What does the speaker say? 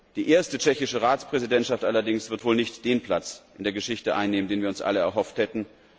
Die erste tschechische Ratspräsidentschaft allerdings wird wohl nicht den Platz in der Geschichte einnehmen, den wir uns alle erhofft hätten.